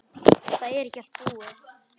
Það er ekki allt búið.